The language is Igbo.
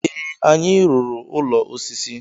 ee, anyị rụrụ ụlọ osisi